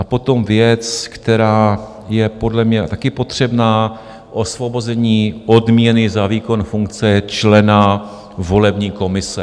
A potom věc, která je podle mě také potřebná - osvobození odměny za výkon funkce člena volební komise.